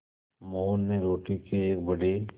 मोहन ने रोटी के एक बड़े